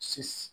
Si